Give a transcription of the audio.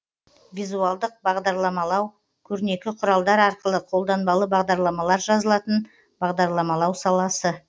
визуалдық бағдарламалау көрнекі құралдар арқылы қолданбалы бағдарламалар жазылатын бағдарламалау саласы